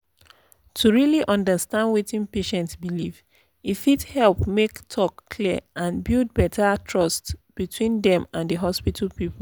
to really understand wetin patient believe e fit help make talk clear and build better trust between dem and the hospital people.